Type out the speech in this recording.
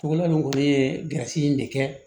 Cogo min kɔni ye garizi in de kɛ